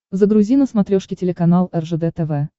загрузи на смотрешке телеканал ржд тв